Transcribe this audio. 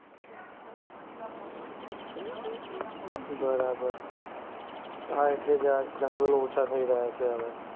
બરાબર. હા એટલે જ આ જંગલો ઓછા થઈ રહ્યા છે હવે.